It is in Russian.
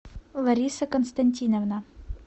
лариса константиновна